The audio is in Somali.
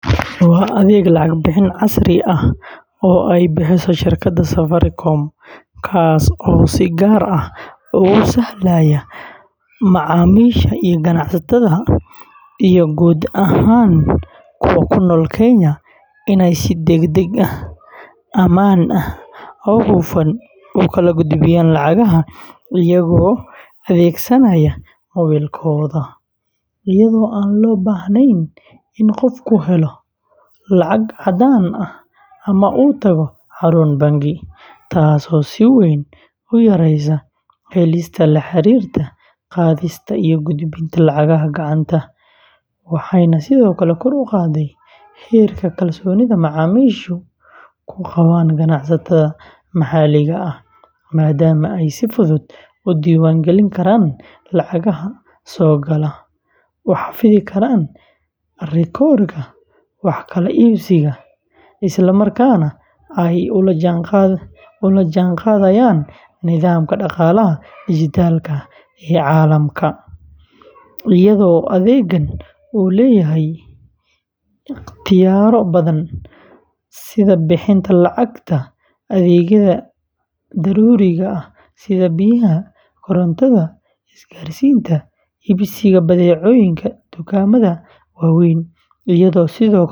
waa adeeg lacag bixin casri ah oo ay bixiso shirkadda Safaricom, kaas oo si gaar ah ugu sahlaya macaamiisha iyo ganacsatada iyo guud ahaan kuwa ku nool Kenya inay si degdeg ah, ammaan ah oo hufan u kala gudbiyaan lacagaha iyagoo adeegsanaya moobilkooda, iyadoo aan loo baahnayn in qofku helo lacag caddaan ah ama uu tago xarun bangi, taasoo si weyn u yareysay halista la xiriirta qaadista iyo gudbinta lacagaha gacanta, waxayna sidoo kale kor u qaaday heerka kalsoonida macaamiishu ku qabaan ganacsatada maxalliga ah, maadaama ay si fudud u diiwaan gelin karaan lacagaha soo gala, u xafidi karaan rikoodhka wax kala iibsiga, islamarkaana ay ula jaanqaadayaan nidaamka dhaqaalaha dijitaalka ah ee caalamka, iyadoo adeeggan uu leeyahay ikhtiyaarro badan sida bixinta lacagta adeegyada daruuriga ah sida biyaha, korontada, isgaarsiinta, iibsiga badeecooyinka dukaamada waaweyn, iyo sidoo kale.